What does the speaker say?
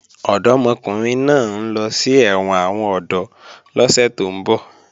Ọ̀dọ́mọkùnrin náà ń lọ sí ẹ̀wọ̀n àwọn ọ̀dọ́ lọ́sẹ̀ tó ń bọ̀